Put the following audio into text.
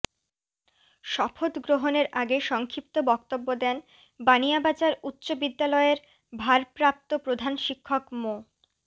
শপথ গ্রহণের আগে সংক্ষিপ্ত বক্তব্য দেন বানিয়াবাজার উচ্চ বিদ্যালয়ের ভারপ্রাপ্ত প্রধান শিক্ষক মো